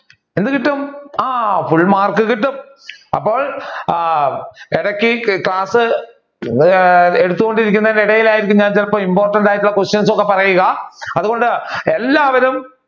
എന്ത് കിട്ടും ആ full മാർക്ക് കിട്ടും. അപ്പോൾ ഇടക്ക് ഈ ക്ലാസ് ആഹ് എടുത്തുകൊണ്ടിരിക്കുന്ന ഇടയിലായിരിക്കും ഞാൻ ചിലപ്പോൾ important ആയിട്ടുള്ള questions ഒക്കെ പറയുക അതുകൊണ്ട് എല്ലാവരും